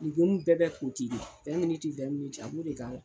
bɛɛ bɛ ko ten ten a b'o de k'a la.